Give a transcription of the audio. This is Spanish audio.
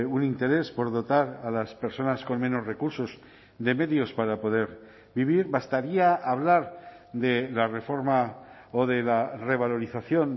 un interés por dotar a las personas con menos recursos de medios para poder vivir bastaría hablar de la reforma o de la revalorización